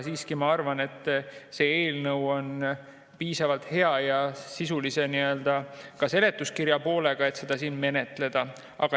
Siiski ma arvan, et see eelnõu on piisavalt hea ja ka sisulise seletuskirja poolega, et seda siin menetleda.